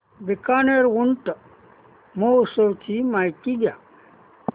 बीकानेर ऊंट महोत्सवाची माहिती द्या